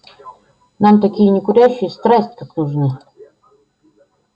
нам такие некурящие страсть как нужны